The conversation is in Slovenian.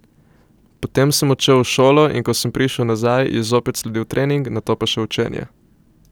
Potem sem odšel v šolo, in ko sem prišel nazaj, je zopet sledil trening, nato pa še učenje.